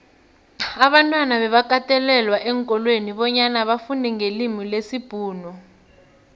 abantwana bebakatelelwa eenkolweni bonyana bafundenqelimilesibhuxu